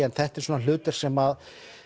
en þetta er hlutverk sem